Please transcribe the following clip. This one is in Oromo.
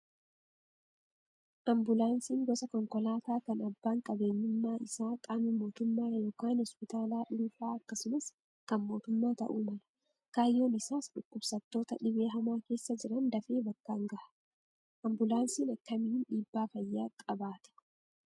Ambulaansiin gosa konkolaataa kan abbaan qabeenyummaa isaa qaama mootummaa yookaan hospitaala dhuunfaa akkasumas kan mootummaa ta'uu mala. Kaayyoon isaas dhukkubsattoota dhibee hamaa keessa jiran dafee bakkaan gaha. Ambulaansiin akkamiin dhiibbaa fayyaa qabaata?